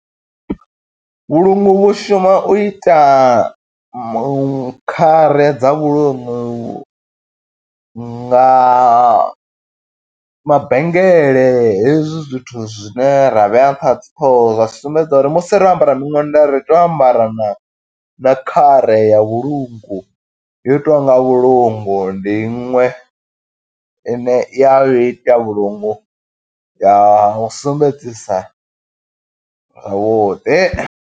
Vhulungu vhu shuma u ita mu khare dza vhulungu, nga mabengele hezwi zwithu zwine ra vhea nṱha ha dzi ṱhoho. Zwa sumbedza uri musi ro ambara miṅwenda ri tea u ambara na, na khare ya vhulungu, yo itiwaho nga vhulungu ndi iṅwe ine, i ya vhu ita vhulungu, ya vhu sumbedzisa vhuḓi.